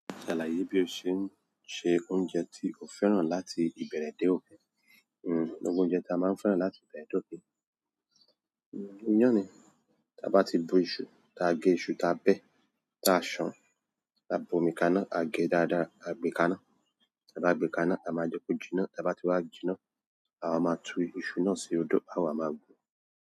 Ṣàlàyé bí o ṣe ń se oúnjẹ tí o fẹ́ràn láti ìbẹ̀rẹ̀ dé òpin. Gbogbo oúnjẹ ta a máa ń fẹ́ràn láti ìbẹ̀rẹ̀ dé òpin. Iyán ni. Ta bá ti bu iṣu, ta a gẹ iṣu, ta a bẹ́, ta a ṣàn, ta a bu omi kaná, a gẹ dáadáa, a gbẹ kaná, ta bá gbẹ kaná, a máa jókòó jiná, ta bá ti wá jiná, àwa máa tú iṣu náà sí odó àwa máa gun.